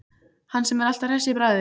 Hann sem er alltaf hress í bragði.